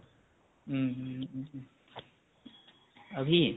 উম উম উ উ অভি